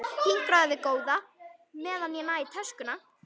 Hinkraðu við góða, meðan ég næ í töskuna.